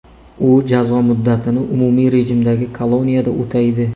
U jazo muddatini umumiy rejimdagi koloniyada o‘taydi.